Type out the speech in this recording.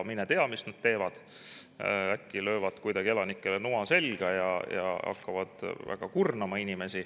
Mine tea, mis nad teevad, äkki löövad kuidagi elanikele noa selga ja hakkavad inimesi väga kurnama.